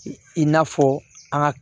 I n'a fɔ an ka